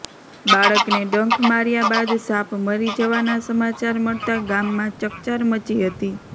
બાળકને ડંખ માર્યા બાદ સાપ મરી જવાના સમાચાર મળતા ગામમાં ચકચાર મચી હતી